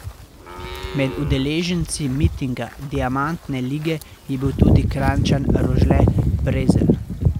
Med udeleženci mitinga diamantne lige je bil tudi Kranjčan Rožle Prezelj.